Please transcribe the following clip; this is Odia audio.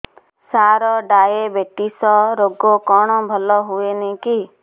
ସାର ଡାଏବେଟିସ ରୋଗ କଣ ଭଲ ହୁଏନି କି